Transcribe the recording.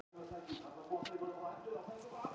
Þögn í nokkra stund, bæði horfa niður á tærnar á sér.